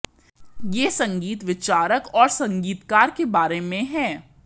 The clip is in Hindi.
यह संगीत विचारक और संगीतकार के बारे में है